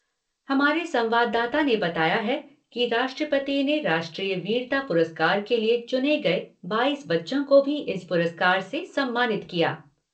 हमारे संवाददाता ने बताया है कि राष्ट्रपति ने राष्ट्रीय वीरता पुरस्कार के लिए चुने गए बाईस बच्चों को भी इस पुरस्कार से सम्मानित किया।